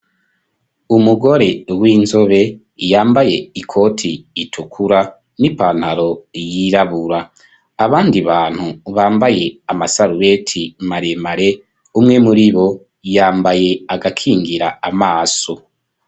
Umugore w'inzobe yambaye ikoti itukura n'ipantaro yirabura abandi bantu bambaye amasaruweti maremare umwe muribo yambaye agakingira amaso.